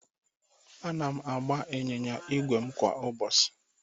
Ana m agba ịnyịnya ígwè m kwa ụbọchị